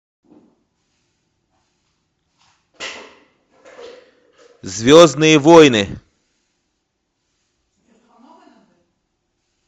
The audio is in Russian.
звездные войны